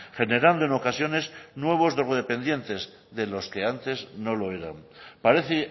generando en ocasiones nuevos drogodependientes de los que antes no lo eran parece